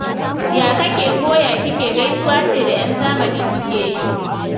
Ya kake ko ya kike' gaisuwa ce da 'yan zamani suke yi